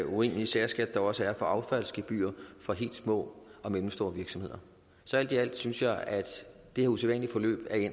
urimelige særskat der også er på affald i gebyr for helt små og mellemstore virksomheder så alt i alt synes jeg at det her usædvanlige forløb er